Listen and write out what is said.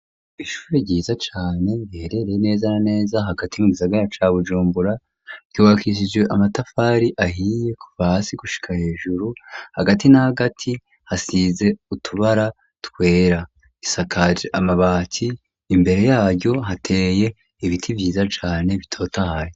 Ishure ryiza cane riherereye neza na neza hagati nku gisagara ca bujumbura ryuwakisje amatafari ahiye kuva hasi gushika hejuru hagati n'agati hasize utubara twera isakaje amabati imbere yayo hateye ibiti vyiza cane bitotahaye.